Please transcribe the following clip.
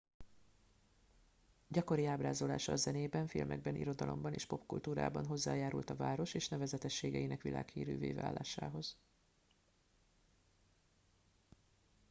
gyakori ábrázolása a zenében filmekben irodalomban és popkultúrában hozzájárult a város és nevezetességeinek világhírűvé válásához